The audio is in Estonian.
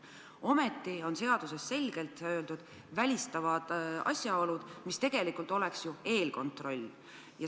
Ometi on seaduses selgelt öeldud välistavad asjaolud, mis tegelikult on ju eelkontroll.